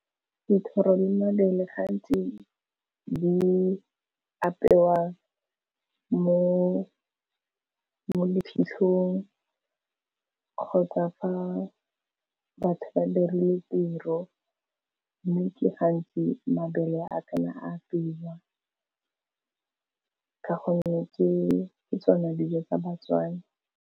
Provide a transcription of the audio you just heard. Dithoro le mabele gantsi di apewa mo diphitlhong, kgotsa fa batho ba dirile tiro. Mme ke gantsi mabele a ka nna a fiwa ka gonne ke tsona dijo tsa ba-Tswana.